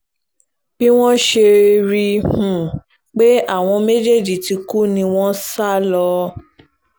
bí wọ́n ṣe rí i um pé àwọn méjèèjì ti kú ni wọ́n sá um lọ